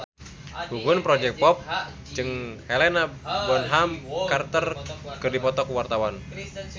Gugum Project Pop jeung Helena Bonham Carter keur dipoto ku wartawan